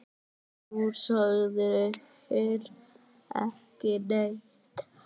Þú sagðir ekki neitt.